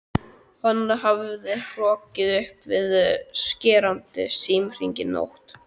Hann hafði hrokkið upp við skerandi símhringingu nótt